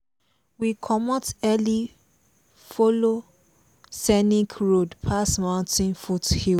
we comot early follow scenic road pass mountain foothills.